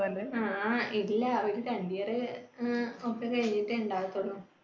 തന്റെ, ആ ഇല്ലാ വീട്ടിൽ current year അഹ് ഒക്കെ കഴിഞ്ഞിട്ട് ഉണ്ടാകുള്ളൂ